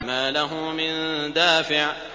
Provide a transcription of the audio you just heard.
مَّا لَهُ مِن دَافِعٍ